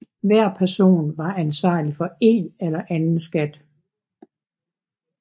Hver person var ansvarlig for en eller anden skat